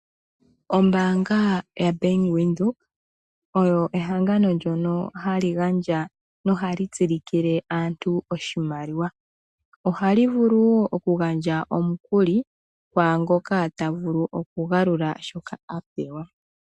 Ombaanga yaBank Windhoek oyo ehangano ndyono hali gandja nohali tsilikile aantu oshimaliwa. Ohali vulu wo oku gandja omukuli kwaangoka tavulu oku galula shoka a pewa.